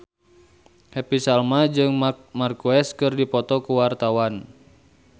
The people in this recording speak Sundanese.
Happy Salma jeung Marc Marquez keur dipoto ku wartawan